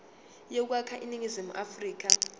yokwakha iningizimu afrika